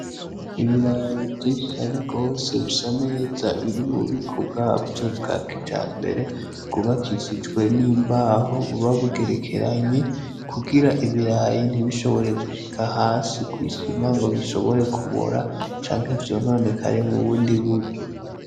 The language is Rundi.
Ibirayi vyinshi cane gose bisa neza biri mububiko bwavyo bwakijambere bwubakishijwe n'imbaho buba bugerekeranye kugira ibirayi ntibishobore gushika hasi kw'isima ngobishobore kubora canke vyononekare mubundi buryo.